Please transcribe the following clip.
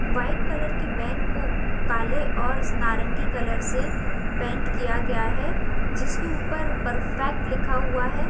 White colour के van को काले और नारंगी कलर से पेंट किया गया है जिसके ऊपर परफेक्ट लिखा हुआ है।